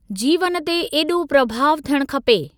जीवन ते ऐॾो प्रभाव थियण खपे।